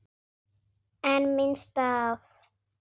En minnst af?